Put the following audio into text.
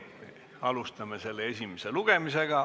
Alustame esimest lugemist.